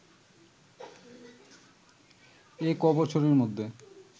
এ ক’বছরের মধ্যে